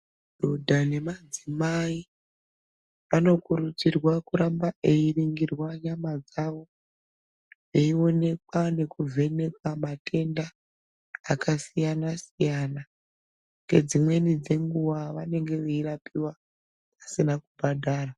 Dhodha nemadzimai vanokurudzirwa kuramba veiningirwa nyama dzavo veionekwa nekuvhenekwa matenda akasiyana siyana ngedzimweni dzenguva vanenge veirapiwa vasina kubhadhara.